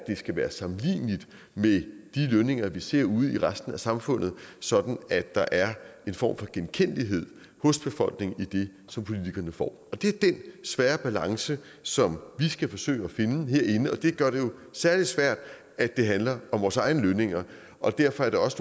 skal være sammenligneligt med de lønninger vi ser ude i resten af samfundet sådan at der er en form for genkendelighed hos befolkningen i det som politikerne får det er den svære balance som vi skal forsøge at finde herinde og det gør det jo særlig svært at det handler om vores egne lønninger og derfor er det også